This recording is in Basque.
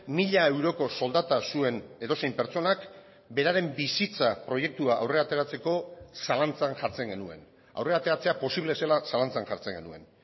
mila euroko soldata zuen edozein pertsonak beraren bizitza proiektua aurrera ateratzeko zalantzan jartzen genuen aurrera ateratzea posible zela zalantzan jartzen genuen